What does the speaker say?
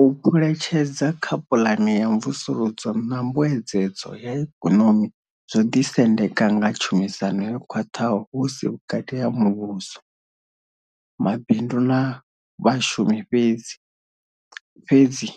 U phuletshedza kha puḽane ya mvusuludzo na mbuedzedzo ya Ikonomi zwo ḓisendeka nga tshumisano yo khwaṱhaho hu si vhukati ha muvhuso, mabindu na vha shumi fhedzi, fhedzi